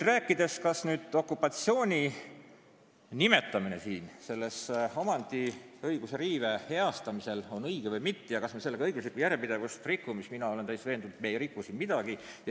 Rääkides sellest, kas okupatsiooni nimetamine selle omandiõiguse riive heastamisel on õige või mitte ja kas me sellega õiguslikku järjepidevust rikume, siis ütlen, et mina olen täiesti veendunud, et me ei riku siin midagi.